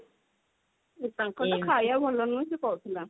ତାଙ୍କର ତ ଖାଇବା ଭଲ ନୁହଁ ସେ କହୁଥିଲା